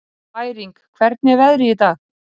Bæring, hvernig er veðrið í dag?